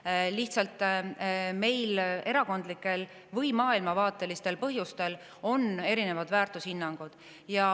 Meil on lihtsalt erakondlikel või maailmavaatelistel põhjustel erinevad väärtushinnangud.